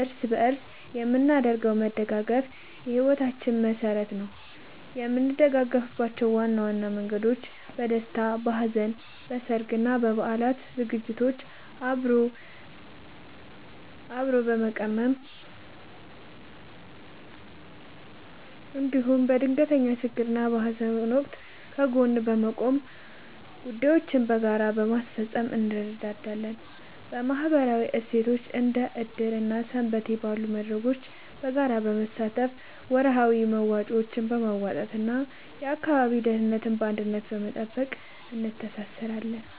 እርስ በእርስ የምናደርገው መደጋገፍ የሕይወታችን መሠረት ነው። የምንደጋገፍባቸው ዋና መንገዶች፦ በደስታና በሐዘን፦ በሠርግና በበዓላት ዝግጅቶችን አብሮ በመቀመም፣ እንዲሁም በድንገተኛ ችግርና በሐዘን ወቅት ከጎን በመቆምና ጉዳዮችን በጋራ በማስፈጸም እንረዳዳለን። በማኅበራዊ እሴቶች፦ እንደ ዕድር እና ሰንበቴ ባሉ መድረኮች በጋራ በመሳተፍ፣ ወርሃዊ መዋጮዎችን በማዋጣትና የአካባቢን ደህንነት በአንድነት በመጠበቅ እንተሳሰራለን።